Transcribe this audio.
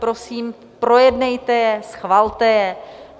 Prosím, projednejte je, schvalte je.